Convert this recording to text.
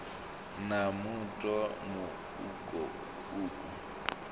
na muṱo mu uku uku